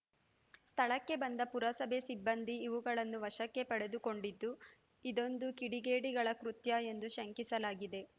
ಸ್ಥಳಕ್ಕೆ ಬಂದ ಪುರಸಭೆ ಸಿಬ್ಬಂದಿ ಇವುಗಳನ್ನು ವಶಕ್ಕೆ ಪಡೆದುಕೊಂಡಿದ್ದು ಇದೊಂದು ಕಿಡಿಗೇಡಿಗಳ ಕೃತ್ಯ ಎಂದು ಶಂಕಿಸಲಾಗಿದೆ